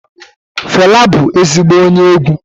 Fẹla bụ ezigbo onye egwu.